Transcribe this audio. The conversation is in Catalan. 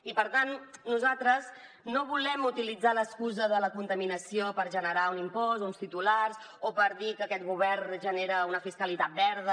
i per tant nosaltres no volem utilitzar l’excusa de la contaminació per generar un impost o uns titulars o per dir que aquest govern genera una fiscalitat verda